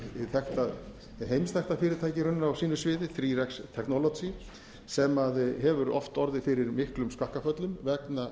hið þekkta heimsþekkta fyrirtæki raunverulega á sínu sviði þrjá x technology sem hefur oft orðið fyrir miklum skakkaföllum vegna